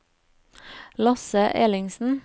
Lasse Ellingsen